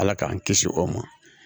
Ala k'an kisi o ma